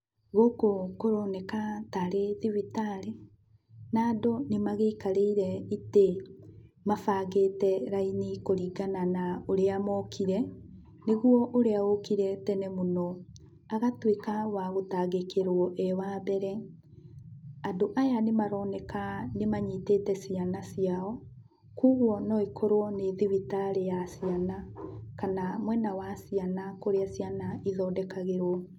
Gũkũ kũroneka tarĩ thibitarĩ, na andũ nĩmagĩikarĩire itĩ mabangĩte raini kũringana na ũrĩa mokire, nĩguo ũrĩa ũkire tene mũno, agatuĩka wagũtangĩkĩrwo e wambere. Andũ aya nĩmaroneka nĩmanyitĩte ciana ciao, kuoguo no ĩkorwo nĩ thibitarĩ ya ciana, kana mwena wa ciana kũrĩa ciana ithondekagĩrwo.